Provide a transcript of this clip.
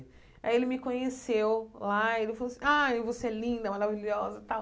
Aí ele me conheceu lá ele falou assim, ai, você é linda, maravilhosa tal.